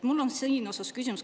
Mul on selline küsimus.